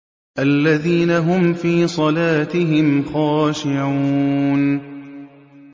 الَّذِينَ هُمْ فِي صَلَاتِهِمْ خَاشِعُونَ